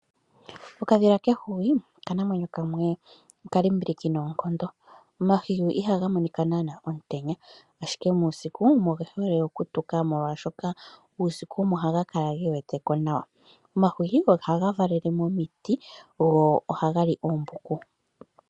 Okadhila kehwiyu oka namwenyo kamwe oka limbiliki noonkondo, omahwiyu ihaga monika naana omutenya ashike muusiku omo ge hole okutuka molwashoka uusiku omo haga kala ge weteko nawa. Omahwiyu oha ga valele momiti go oha gali oombuku.